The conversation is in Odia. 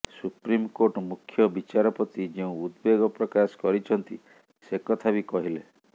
ସୁପ୍ରିମକୋର୍ଟ ମୁଖ୍ୟ ବିଚାରପତି େଯଉଁ ଉଦବେଗ ପ୍ରକାଶ କରିଛନ୍ତି ସେ କଥା ବି କହିଲେ